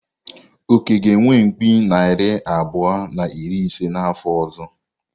Oke ga-enwe mkpi narị abụọ na iri ise n’afọ ọzọ.